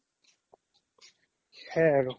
সেইয়াই আৰু